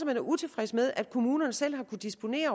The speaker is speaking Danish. er utilfreds med at kommunerne selv har kunnet disponere